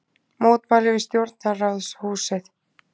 Mótmæli við Stjórnarráðshúsið